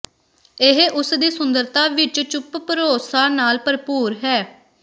ਇਹ ਉਸ ਦੀ ਸੁੰਦਰਤਾ ਵਿਚ ਚੁੱਪ ਭਰੋਸਾ ਨਾਲ ਭਰਪੂਰ ਹੈ